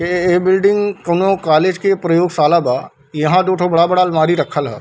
ये बिल्डिंग कोनो कॉलेज के प्रयोगशाला बा यहाँ दुठो बड़ा-बड़ा अलमारी रखल हअ।